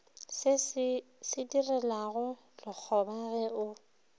se direlago lekgoba ge o